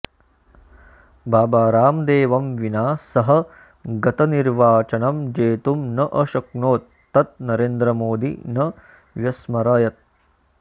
बाबारामदेवं विना सः गतनिर्वाचनं जेतुं न अशक्नोत् तत् नरेन्द्रमोदी न व्यस्मरयत्